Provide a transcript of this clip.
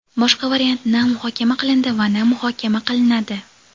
Boshqa variant na muhokama qilindi va na muhokama qilinadi.